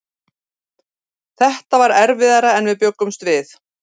Þetta var erfiðara en við bjuggumst við.